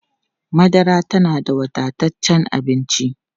Madara tana da wadataccen abinci.